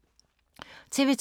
TV 2